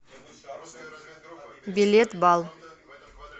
билет бал